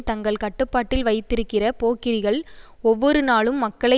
தங்கள் கட்டுப்பாட்டில் வைத்திருக்கிற போக்கிரிகள் ஒவ்வொரு நாளும் மக்களை